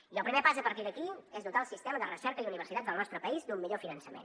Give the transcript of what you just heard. i el primer pas a partir d’aquí és dotar el sistema de recerca i universitats del nostre país d’un millor finançament